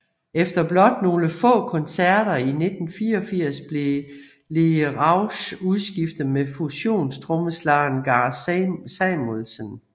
Efter blot nogle få koncerter i 1984 blev Lee Rausch udskiftet med fusionstrommeslageren Gar Samuelson